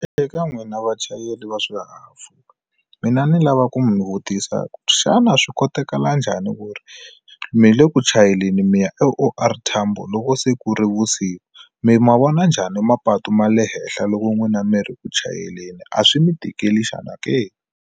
Eka n'wina vachayeri va swihahampfhuka mina ni lava ku mu vutisa xana swi koteka la njhani ku ri mi le ku chayeleni mi ya O_R Tambo loko se ku ri vusiku mi ma vona njhani mapatu ma le henhla loko n'wina mi ri ku chayeleni a swi mi tikeli xana ke?